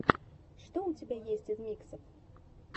что у тебя есть из миксов